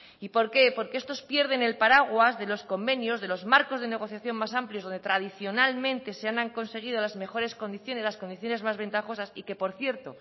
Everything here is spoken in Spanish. por qué porque estos pierden el paraguas de los convenios de los marcos de negociación más amplios donde tradicionalmente se han conseguido las mejores condiciones las condiciones más ventajosas que por cierto